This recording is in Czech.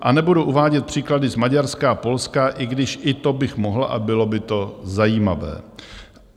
A nebudu uvádět příklady z Maďarska a Polska, i když i to bych mohl a bylo by to zajímavé.